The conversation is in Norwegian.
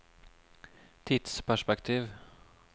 tidsperspektiv